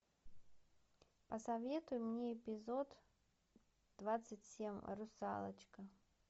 посоветуй мне эпизод двадцать семь русалочка